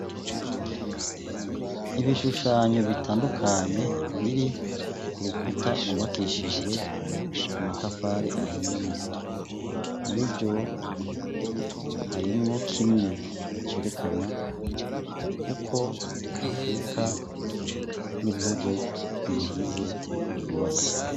Ibishushanyo bitandukanye biri ku rukuta rubakishijwe amatafari ahiye muri vyo harimwo kimwe cerekana uko afurika n'ibihugu biyigize mubatsi.